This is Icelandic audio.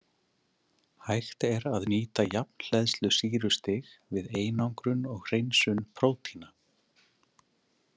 Hægt er að nýta jafnhleðslusýrustig við einangrun og hreinsun prótína.